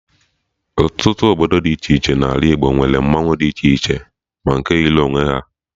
Ọtụtụ obodo dị iche iche N'ala Igbo nwere mmanwụ dị iche ma nke yiri onwe ha